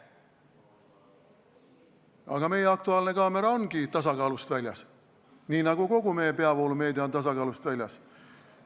Aga "Aktuaalne kaamera" ongi tasakaalust väljas, nii nagu kogu meie peavoolumeedia on tasakaalust väljas.